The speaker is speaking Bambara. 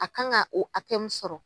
A kan ka o hakɛ min sɔrɔ